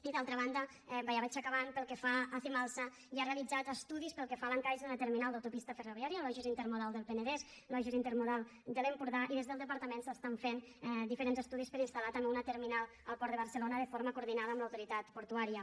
i d’altra banda ja vaig acabant pel que fa a cimalsa hi ha realitzats estudis pel que fa a l’encaix d’una terminal d’autopista ferroviària al logis intermodal del penedès logis intermodal de l’empordà i des del departament s’estan fent diferents estudis per a instal·lar també una terminal al port de barcelona de forma coordinada amb l’autoritat portuària